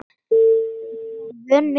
Ég var vön miklu álagi.